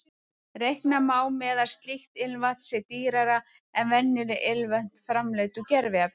Reikna má með að slíkt ilmvatn sé dýrara en venjuleg ilmvötn framleidd úr gerviefnum.